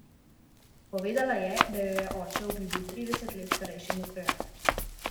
Povedala je, da jo je oče obljubil trideset let starejšemu krojaču.